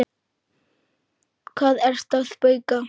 Hvað ertu að bauka?